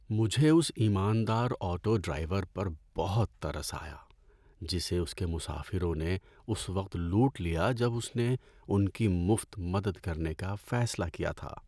‏مجھے اس ایماندار آٹو ڈرائیور پر بہت ترس آیا جسے اس کے مسافروں نے اس وقت لوٹ لیا جب اس نے ان کی مفت مدد کرنے کا فیصلہ کیا تھا۔